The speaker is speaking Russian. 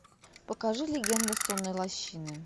покажи легенда сонной лощины